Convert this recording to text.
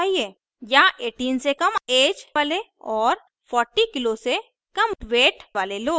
या 18 से कम ऐज वाले और 40 किग्रा से कम वेट वाले लोग